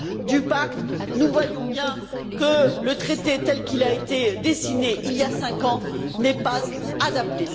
du pacte, nous voyons bien que le traité, tel qu'il a été dessiné il y a cinq ans, n'est pas adapté.